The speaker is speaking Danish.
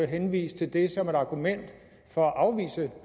henvise til det som et argument for at afvise